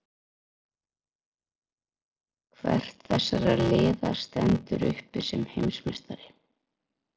Hvert þessara liða stendur uppi sem heimsmeistari?